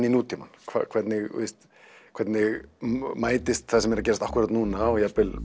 í nútímann hvernig hvernig mætist það sem er að gerast akkúrat núna og jafnvel